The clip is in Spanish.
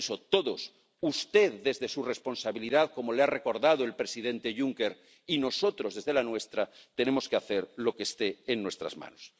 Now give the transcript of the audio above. Por eso, todos, usted desde su responsabilidad —como le ha recordado el presidente Juncker— y nosotros desde la nuestra, tenemos que hacer lo que esté en nuestras manos.